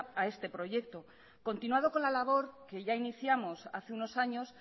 a este proyecto continuado con la labor que ya iniciamos hace unos años